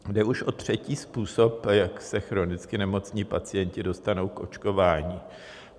Jde už o třetí způsob, jak se chronicky nemocní pacienti dostanou k očkování.